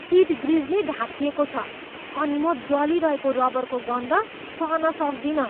Seat ग्रिजले ढाकिएको छ अनि म जलिरहेको रबरको गन्ध सहन सक्दिनँ।